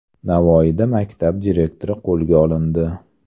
Navoiyda maktab direktori qo‘lga olindi.